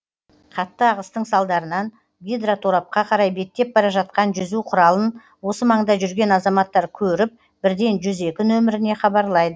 қатты ағыстың салдарынан гидроторапқа қарай беттеп бара жатқан жүзу құралын осы маңда жүрген азаматтар көріп бірден жүз екі нөміріне хабарлайды